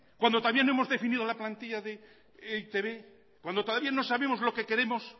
cuando todavía no hemos definido la plantilla de e i te be cuando todavía no sabemos lo que queremos